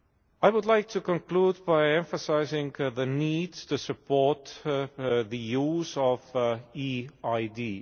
I would like to conclude by emphasising the need to support the use of e ID.